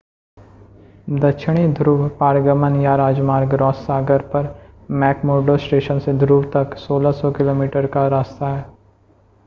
दक्षिणी ध्रुव पारगमन या राजमार्ग रॉस सागर पर मैक्मुर्डो स्टेशन से ध्रुव तक 1600 किमी का रास्ता है